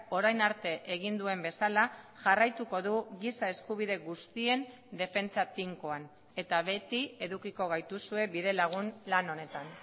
orain arte egin duen bezala jarraituko du giza eskubide guztien defentsa tinkoan eta beti edukiko gaituzue bidelagun lan honetan